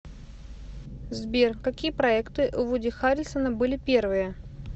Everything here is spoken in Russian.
сбер какие проекты у вуди харрельсона были первые